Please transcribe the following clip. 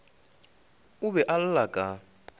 o be a lla ka